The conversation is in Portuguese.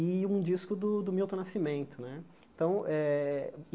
E um disco do do Milton Nascimento né. Então eh